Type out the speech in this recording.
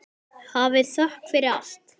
Hafið þökk fyrir allt.